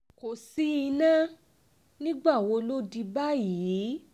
kò sí iná nígbà wo ló di báyìí